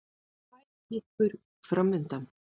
Tvær kippur framundan.